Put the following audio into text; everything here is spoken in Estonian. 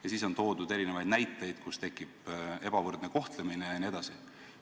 Ja siis on toodud erinevaid näiteid, kus tekib ebavõrdne kohtlemine jne.